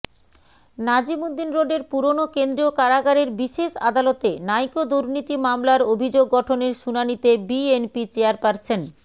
নাজিমউদ্দিন রোডের পুরনো কেন্দ্রীয় কারাগারের বিশেষ আদালতে নাইকো দুর্নীতি মামলার অভিযোগ গঠনের শুনানিতে বিএনপি চেয়ারপারসন